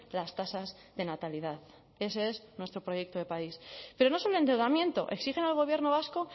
las tasas de natalidad ese es nuestro proyecto de país pero no solo endeudamiento exigen al gobierno vasco